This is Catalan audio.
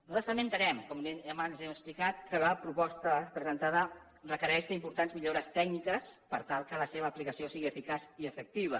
nosaltres també entenem com abans hem explicat que la proposta presentada requereix importants millores tècniques per tal que la seva aplicació sigui eficaç i efectiva